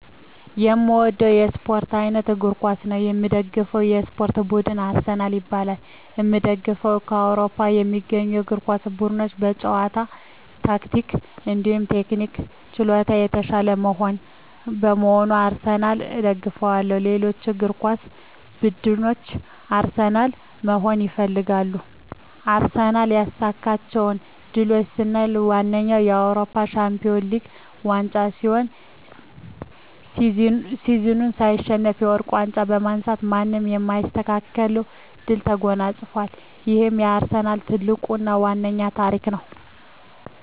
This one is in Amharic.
የእምወደዉ የእስፖርት አይነት እግር ኳስ ነዉ። የምደግፈዉ የእስፖርት ቡድንም አርሰናል ይባላል። የእምደግፈዉም በአዉሮፖ ከሚገኙ የእግር ኳስ ቡድኖች በጨዋታ ታክቲክ እንዲሁም ቴክኒክና ችሎታ የታሻለ በመሆኑ አርሰናልን እደግፋለሁ። ሌሎች እግር ኳስ ብድኖች አርሰናልን መሆን ይፈልጋሉ። አርሰናል ያሳካቸዉ ድሎች ስናይ ዋነኛዉ የአዉሮፖ ሻንፒወንስ ሊግ ዋንጫ ሲሆን ሲዝኑን ሳይሸነፍ የወርቅ ዋንጫ በማንሳት ማንም የማይስተካከለዉን ድል ተጎናፅፋል ይሄም የአርሰናል ትልቁና ዋናዉ ታሪክ ነዉ።